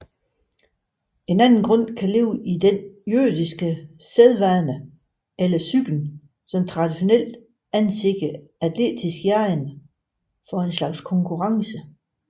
En anden grund kan ligge i den jødiske sædvane eller psyken som traditionelt anser atletisk jagen for en slags konkurrence